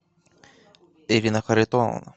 ирина харитонова